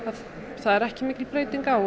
það er ekki mikil breyting á og